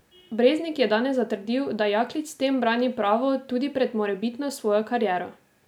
Breznik je danes zatrdil, da Jaklič s tem brani pravo tudi pred morebitno svojo kariero.